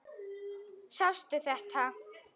Sástu þetta?